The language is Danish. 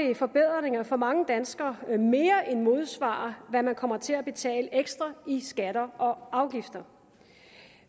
vil forbedringer for mange danskere mere end modsvare hvad man kommer til at betale ekstra i skatter og afgifter